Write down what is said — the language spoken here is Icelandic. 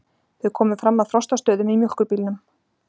Þau komu fram að Frostastöðum í mjólkurbílnum.